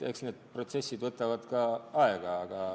Eks need protsessid võtavad aega.